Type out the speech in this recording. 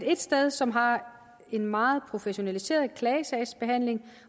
et sted som har en meget professionaliseret klagesagsbehandling